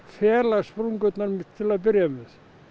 fela sprungurnar til að byrja með